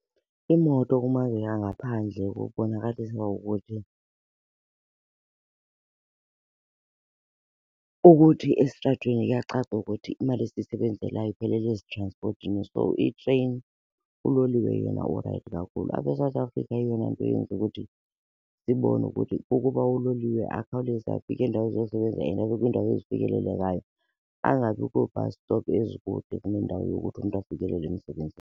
Iimoto kumazwe angaphandle kubonakalisa ukuthi, ukuthi esitratweni kuyacaca ukuthi imali esiyisebenzelayo iphelela ezitranspothini. So itreyini, uloliwe yena u-right kakhulu. Apha eSouth Africa eyona nto yenza ukuthi sibone ukuthi ukuba uloliwe akhawuleze afike eendaweni zosebenza and abe kwiindawo ezifikelelekayo, angabi kwii-bus stop ezikude kunendawo yokuthi umntu afikelele emsebenzini.